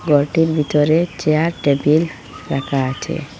ঘরটির ভিতরে chair table রাখা আছে।